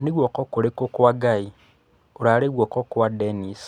Nĩ guoko kũrikũ kwa Ngai, urarĩ guoko kwa Denis!